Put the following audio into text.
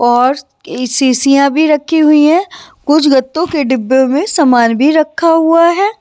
और के शीशियां भी रखी हुई हैं कुछ गत्तों के डिब्बे में सामान भी रखा हुआ है।